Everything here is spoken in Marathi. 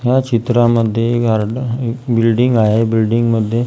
या चित्रांमध्ये गार्ड बिल्डिंग आहे बिल्डिंगमध्ये --